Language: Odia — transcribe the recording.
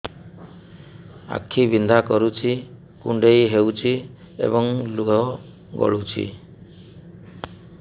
ଆଖି ବିନ୍ଧା କରୁଛି କୁଣ୍ଡେଇ ହେଉଛି ଏବଂ ଲୁହ ଗଳୁଛି